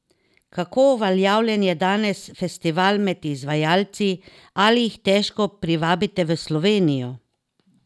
Kako uveljavljen je danes festival med izvajalci, ali jih težko privabite v Slovenijo?